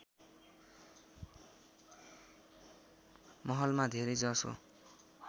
महलमा धेरै जसो